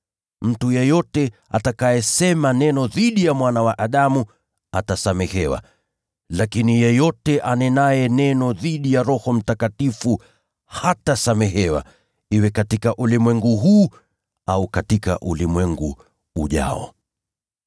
Mtu yeyote atakayesema neno dhidi ya Mwana wa Adamu atasamehewa, lakini yeyote anenaye neno dhidi ya Roho Mtakatifu hatasamehewa, iwe katika ulimwengu huu au katika ulimwengu ujao.